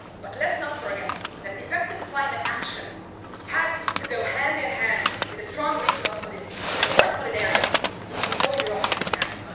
But let's not forget that effective climate action has to go hand in hand with a strong regional policy with more solidarity, leaving no Europeans behind.